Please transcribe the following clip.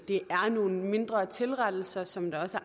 er nogle mindre tilrettelser som der også